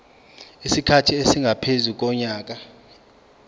isikhathi esingaphezu konyaka